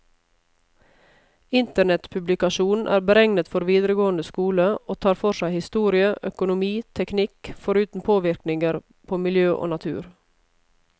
Internettpublikasjonen er beregnet for videregående skole, og tar for seg historie, økonomi, teknikk, foruten påvirkninger på miljø og natur.